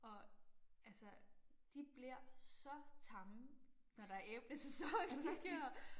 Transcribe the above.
Og altså de bliver så tamme når der er æblesæson de ja